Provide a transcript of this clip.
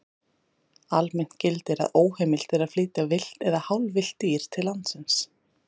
Almennt gildir að óheimilt er að flytja villt eða hálfvillt dýr til landsins.